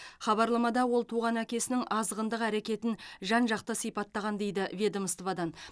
хабарламада ол туған әкесінің азғындық әрекетін жан жақты сипаттаған дейді ведомстводан